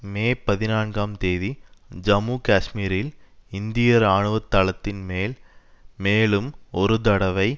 மே பதினான்காம் தேதி ஜம்மு காஷ்மீரில் இந்திய ராணுவ தளத்தின் மேல் மேலும் ஒரு தடவை